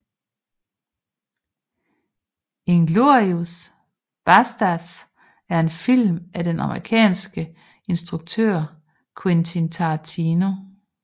Inglourious Basterds er en film af den amerikanske filminstruktør Quentin Tarantino